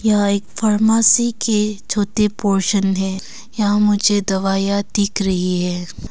यहां एक फार्मेसी के छोटे पोर्शन है यहाँ मुझे दवाइयां दिख रही है।